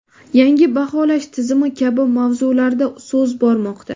yangi baholash tizimi kabi mavzularda so‘z bormoqda.